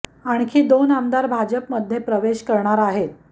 आणखी दोन आमदार भाजप मध्ये प्रवेश करणार आहेत